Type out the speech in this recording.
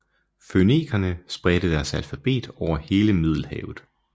Fønikerne spredte deres alfabet over hele Middelhavet